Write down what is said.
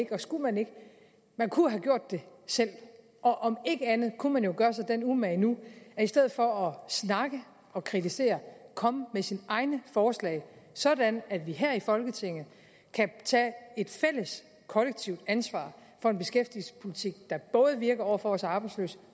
ikke og skulle man ikke man kunne have gjort det selv og om ikke andet kunne man jo gøre sig den umage nu i stedet for at snakke og kritisere at komme med sine egne forslag sådan at vi her i folketinget kan tage et fælles kollektivt ansvar for en beskæftigelsespolitik der både virker over for vores arbejdsløse